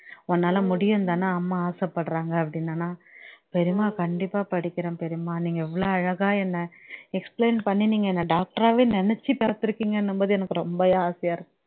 உன்னால முடியும்னு தானே அம்மா ஆசைப்படுறாங்க அப்படின்னேனா பெரியம்மா கண்டிப்பா படிக்கிறேன் பெரியம்மா நீங்க எவ்வளோ அழகா என்ன explain பண்ணி நீங்க என்ன doctor ஆவே நெனச்சு பாத்துருக்கீங்கன்னும்போது எனக்கு ரொம்பயே ஆசையா இருக்கு